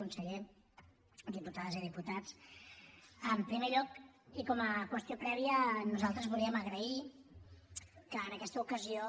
conseller diputades i diputats en primer lloc i com a qüestió prèvia nosaltres volíem agrair que en aquesta ocasió